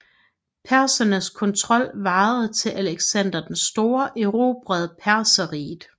Persernes kontrol varede til Alexander den store erobrede Perserriget